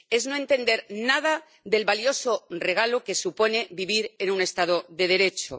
Es no entender nada del valioso regalo que supone vivir en un Estado de Derecho.